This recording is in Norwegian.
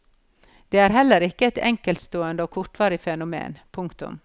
Det er heller ikke et enkeltstående og kortvarig fenomen. punktum